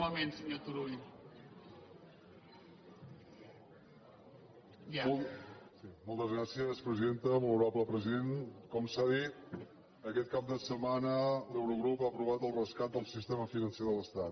molt honorable president com s’ha dit aquest cap de setmana l’eurogrup ha aprovat el rescat del sistema financer de l’estat